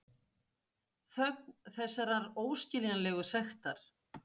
Þögn þessarar óskiljanlegu sektar.